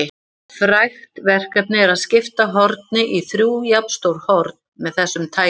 Frægt verkefni er að skipta horni í þrjú jafnstór horn með þessum tækjum.